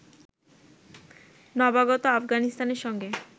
নবাগত আফগানিস্তানের সঙ্গে